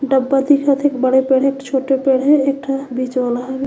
डब्बा दिखत हे एक बड़े पेड़ हे एक छोटे पेड़ हे एक ठ बीच वाला हे। --